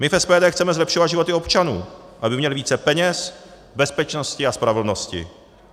My v SPD chceme zlepšovat životy občanů, aby měli více peněz, bezpečnosti a spravedlnosti.